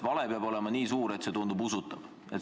Vale peab olema nii suur, et see tunduks usutav.